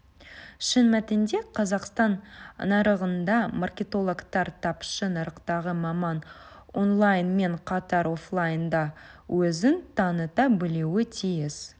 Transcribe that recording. шын мәнінде қазақстан нарығында маркетологтар тапшы нарықтағы маман онлайнмен қатар офлайнда да өзін таныта білуі тиіс